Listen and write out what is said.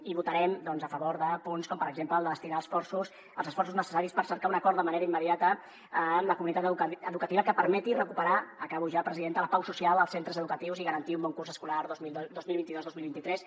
i votarem a favor de punts com per exemple el de destinar els esforços necessaris per cercar un acord de manera immediata amb la comunitat educativa que permeti recuperar acabo ja presidenta la pau social als centres educatius i garantir un bon curs escolar dos mil vint dos dos mil vint tres